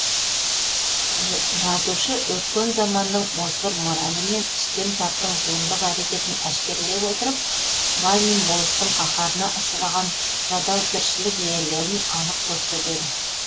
жазушы өткен заманның озбыр моралі мен үстем таптың зұлымдық әрекетін әшкерлей отырып бай мен болыстың қаһарына ұшыраған жадау тіршілік иелерін анық көрсетеді